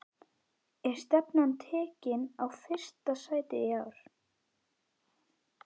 Er stefnan tekin á fyrsta sætið í ár?